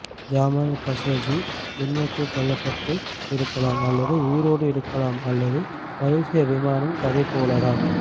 Jamal Khashoggi உண்மைக்கு கொல்லப்பட்டு இருக்கலாம் அல்லது உயிரோட இருக்கலாம் அது மலேசியா விமானம் கதை போல தான்